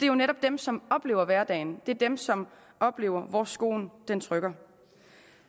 jo netop dem som oplever hverdagen dem som oplever hvor skoen trykker